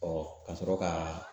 ka sɔrɔ ka